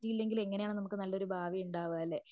പറ്റിയില്ലെങ്കിൽ എങ്ങനെയാണ് നമുക്കൊരു നല്ല ഭാവി ഉണ്ടാവുകയല്ലേ.